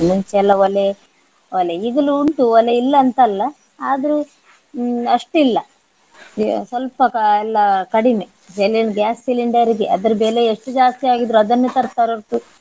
ಮುಂಚೆ ಎಲ್ಲ ಒಲೆ ಒಲೆ ಈಗಲೂ ಉಂಟು ಒಲೆ ಇಲ್ಲ ಅಂತ ಅಲ್ಲ ಆದ್ರೆ ಹ್ಮ್ ಅಷ್ಟಿಲ್ಲ ಸ್ವಲ್ಪ ಕ~ ಎಲ್ಲ ಕಡಿಮೆ. ಬೆಲೆ ಒಂದ್ gas cylinder ಗೆ ಅದರ ಬೆಲೆ ಎಷ್ಟು ಜಾಸ್ತಿ ಆಗಿದ್ರೂ ಅದನ್ನೇ ತರ್ತಾರೆ ಹೊರ್ತು.